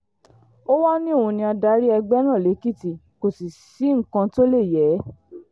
ó wàá ní òun ni adarí ẹgbẹ́ náà lèkìtì kò sì sí nǹkan tó lè yé e